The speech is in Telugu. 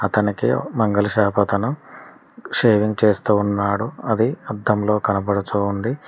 తనకే మంగళ షాప్ అతను షేవింగ్ చేస్తూ ఉన్నాడు అది అద్దంలో కనబడుతోంది.